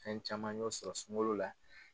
An caman y'o sɔrɔ sunkalo la.